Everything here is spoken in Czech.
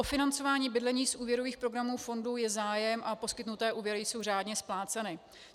O financování bydlení z úvěrových programů fondu je zájem a poskytnuté úvěry jsou řádně spláceny.